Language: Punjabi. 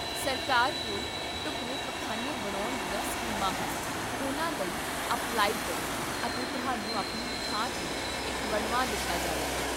ਸਰਕਾਰ ਕੋਲ ਢੁੱਕਵੇਂ ਪਖਾਨੇ ਬਣਾਉਣ ਦੀਆਂ ਸਕੀਮਾਂ ਹਨ, ਉਨ੍ਹਾਂ ਲਈ ਅਪਲਾਈ ਕਰੋ ਅਤੇ ਤੁਹਾਨੂੰ ਆਪਣੀ ਥਾਂ 'ਤੇ ਇਕ ਬਣਵਾ ਦਿੱਤਾ ਜਾਵੇਗਾ